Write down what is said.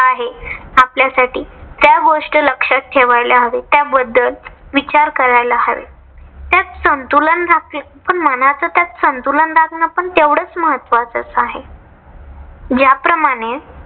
आपल्यासाठी त्या गोष्ट लक्षात ठेवायला हवे. त्याबद्दल विचार करयला हवे. त्यात संतुलन राखणे पण मनाच त्यात संतुलन राखणे पण तेवढाच महत्वाचे आहे. ज्याप्रमाणे